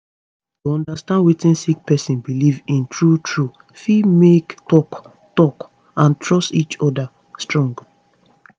to understand wetin sick person belief in true true fit make talk talk and trust each oda strong